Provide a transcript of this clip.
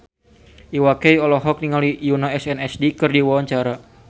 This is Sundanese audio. Iwa K olohok ningali Yoona SNSD keur diwawancara